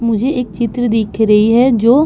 मुझे एक चित्र दिख रही है जो --